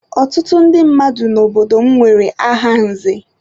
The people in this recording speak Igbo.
Ọtụtụ ndị mmadụ n'obodo m nwere aha nze.